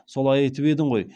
солай айтып едің ғой